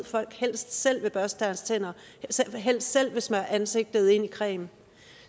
folk helst selv vil børste deres tænder helst selv vil smøre ansigtet ind i creme